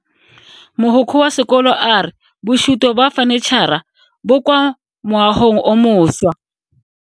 Mogokgo wa sekolo a re bosuto ba fanitšhara bo kwa moagong o mošwa.